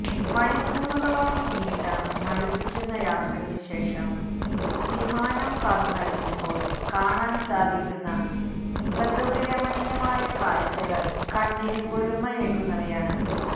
മണിക്കൂറുകളോളം നീണ്ട മടുപ്പിക്കുന്ന യാത്രയ്ക്ക് ശേഷം വിമാനം പറന്നടക്കുമ്പോൾ കാണാൻ സാധിക്കുന്ന പ്രകൃതിരമണീയമായ കാഴ്ചകൾ കണ്ണിന് കുളിർമയേകുന്നവയാണ്